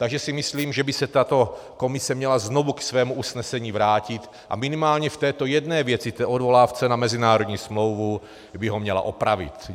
Takže si myslím, že by se tato komise měla znovu ke svému usnesení vrátit a minimálně v této jedné věci, tj. odvolávce na mezinárodní smlouvu, by ho měla opravit.